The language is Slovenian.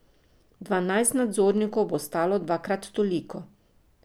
Dvanajst nadzornikov bo stalo dvakrat toliko.